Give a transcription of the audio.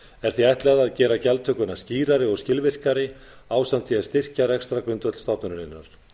er því ætlað að gera gjaldtökuna skýrari og skilvirkari ásamt því að styrkja rekstrargrundvöll stofnunarinnar